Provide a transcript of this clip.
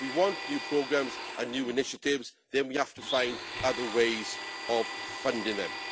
If we want new programmes and new initiatives, then we have to find other ways of funding them.